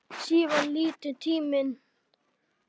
Síðan líður tíminn.